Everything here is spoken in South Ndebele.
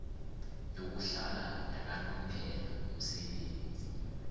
yokuhlala yakanomphela umsebenzi